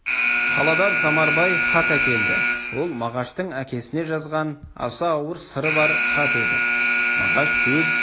қаладан самарбай хат әкелді ол мағаштың әкесіне жазған аса ауыр сыры бар хат еді мағаш өз